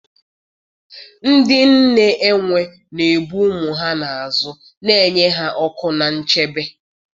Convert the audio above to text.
Ndị nne enwe na-ebu ụmụ ha n'azụ, na-enye ha ọkụ na nchebe.